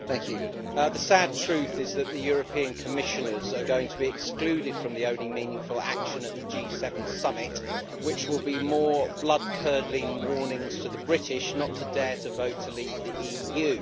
Madam President, the sad truth is that the European Commissioners are going to be excluded from the only meaningful action at the G7 summit, which will be more blood curdling warnings to the British not to dare to vote to leave the EU.